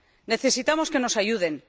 Necesitamos que nos ayuden.